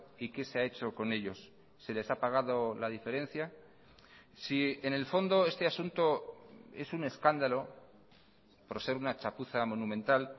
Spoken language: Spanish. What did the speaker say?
y qué se ha hecho con ellos se les ha pagado la diferencia si en el fondo este asunto es un escándalo por ser una chapuza monumental